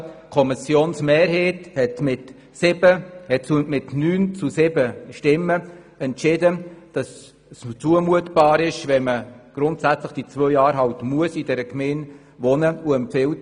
Die Kommissionsmehrheit hat mit 9 Ja-Stimmen gegen 7 NeinStimmen entschieden, dass es zumutbar ist, wenn man zwei Jahre in der Gemeinde wohnen muss.